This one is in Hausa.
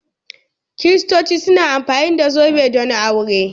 Kiristoci suna amfani da zobe don aure.